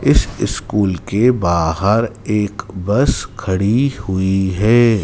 इस स्कूल के बाहर एक बस खड़ी हुई है।